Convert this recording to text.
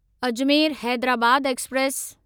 Ajmer Hyderabad express